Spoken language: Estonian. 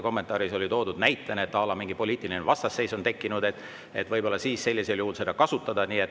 Kommentaaris oli toodud näide, et à la mingi poliitiline vastasseis on tekkinud, et võib-olla siis sellisel juhul seda kasutada.